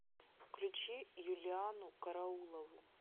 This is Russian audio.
включи юлианну караулову